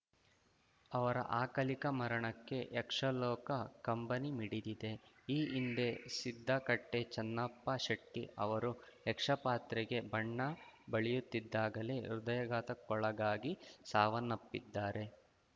ಅವರ ಅಕಲಿಕ ಮರಣಕ್ಕೆ ಯಕ್ಷಲೋಕ ಕಂಬನಿ ಮಿಡಿದಿದೆ ಈ ಹಿಂದೆ ಸಿದ್ದಕಟ್ಟೆ ಚನ್ನಪ್ಪ ಶೆಟ್ಟಿ ಅವರು ಯಕ್ಷಪಾತ್ರಕ್ಕೆ ಬಣ್ಣ ಬಳಿಯುತ್ತಿದ್ದಾಗಲೇ ಹೃದಯಾಘಾತಕ್ಕೊಳಗಾಗಿ ಸಾವನ್ನಪ್ಪಿದ್ದಾರೆ